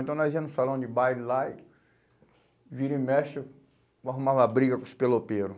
Então nós ía no salão de baile lá e vira e mexe, arrumava briga com os pelopeiros.